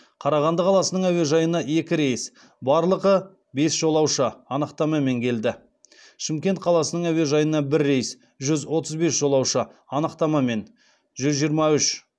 қарағанды қаласының әуежайына екі рейс барлығы бес жолаушы анықтамамен келді шымкент қаласының әуежайына бір рейс жүз отыз бес жолаушы анықтамамен жүз жиырма үш